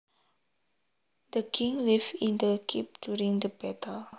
The king lived in the keep during the battle